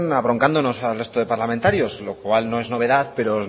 abroncándonos al resto de parlamentarios lo cual no es novedad pero